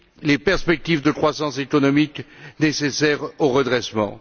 les perspectives de croissance économique nécessaires au redressement.